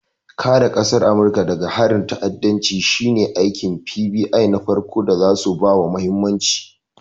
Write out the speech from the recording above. Kare ƙasar Amurika daga harin ta'addanci shine aikin FBI na farko da zasu bawa mahimmanci.